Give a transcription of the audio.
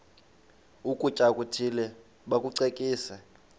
ukutya okuthile bakucekise